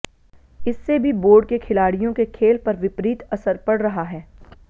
इससे भी बोर्ड के खिलाडि़यों के खेल पर विपरीत असर पड़ रहा है